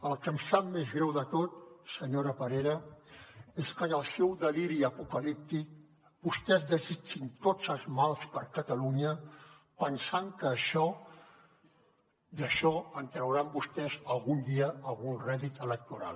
el que em sap més greu de tot senyora parera és que en el seu deliri apocalíptic vostès desitgin tots els mals per a catalunya pensant que d’això trauran vostès algun dia algun rèdit electoral